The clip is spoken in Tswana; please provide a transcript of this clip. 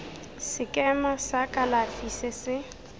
sekema sa kalafi se se